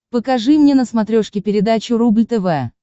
покажи мне на смотрешке передачу рубль тв